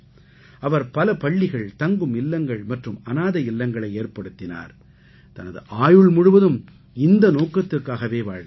அவர் பல பள்ளிகள் தங்கும் இல்லங்கள் மற்றும் அநாதை இல்லங்களை ஏற்படுத்தினார் தனது ஆயுள் முழுவதும் இந்த நோக்கத்துக்காகவே வாழ்ந்தார்